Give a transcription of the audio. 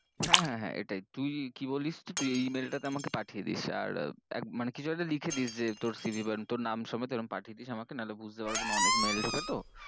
হ্যাঁ হ্যাঁ হ্যাঁ এটাই, তুই কি বলিস, তুই এই e-mail টা তে আমাকে পাঠিয়েদীস আর মানে কিছু একটা লিখেদিস যে তোর cv বা তোর নাম সমেদ এরম পাঠিয়েদীস আমাকে নাহলে বুঝতে পারব না অনেক mail এসছে তো